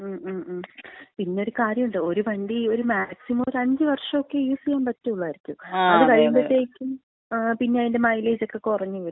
മ് മ് മ്, പിന്നൊരു കാര്യോണ്ട്. ഒരു വണ്ടി ഒരു മാക്സിമം ഒരു അഞ്ച് വർഷൊക്കെ യൂസ് ചെയ്യാമ്പറ്റൊള്ളായിരിക്കും. അത് കഴിയുമ്പത്തേക്കും പിന്ന അതിന്‍റെ മൈലേജക്ക കുറഞ്ഞ് വരും.